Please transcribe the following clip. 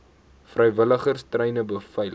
vrywilligers treine beveilig